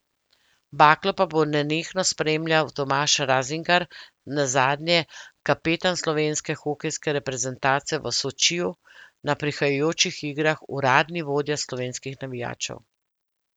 Baklo pa bo nenehno spremljal Tomaž Razingar, nazadnje kapetan slovenske hokejske reprezentance v Sočiju, na prihajajočih igrah uradni vodja slovenskih navijačev.